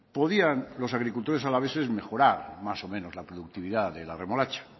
podían los agricultores alaveses mejorar más o menos la productividad de la remolacha